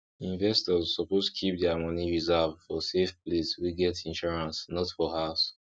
investors suppose keep dia moni reserve for safe place wey get insurance not for house